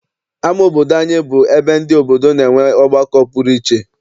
Ama obodo anyị bụ ebe ndị obodo na-enwe ọgbakọ pụrụ iche.